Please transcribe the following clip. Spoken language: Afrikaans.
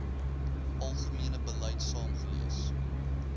algemene beleid saamgelees